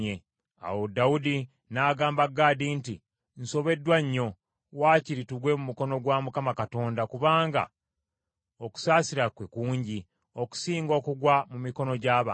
Awo Dawudi n’agamba Gaadi nti, “Nsobeddwa nnyo; wakiri tugwe mu mukono gwa Mukama Katonda, kubanga okusaasira kwe kungi; okusinga okugwa mu mikono gy’abantu.”